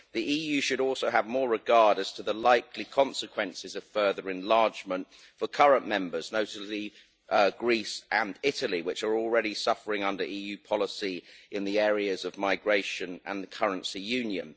The EU should also have more regard as to the likely consequences of further enlargement for current members, notably Greece and Italy, which are already suffering under EU policy in the areas of migration and the currency union.